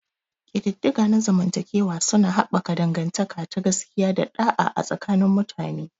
Ƙididdiga na zamantakewa suna haɓaka dangantaka ta gaskiya da ɗa'a a tsakanin mutane.